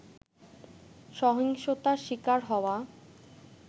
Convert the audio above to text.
সহিংসতার শিকার হওয়া